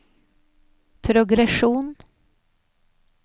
progresjon